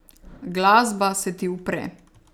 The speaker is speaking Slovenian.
Glasba se ti upre.